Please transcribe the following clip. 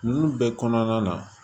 Ninnu bɛɛ kɔnɔna na